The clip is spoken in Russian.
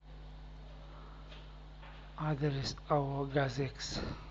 адрес ао газэкс